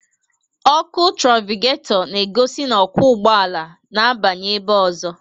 Ọkụ trafikato na-egosi na okwu ụgbọala n'abanye ebe ozo